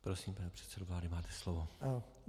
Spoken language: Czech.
Prosím, pane předsedo vlády, máte slovo.